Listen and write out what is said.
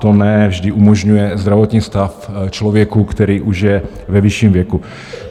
Toto ne vždy umožňuje zdravotní stav člověka, který už je ve vyšším věku.